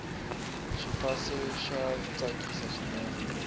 xifase xa tsakisa swinene